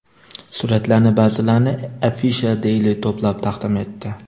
Suratlarning ba’zilarini Afisha Daily to‘plab taqdim etdi .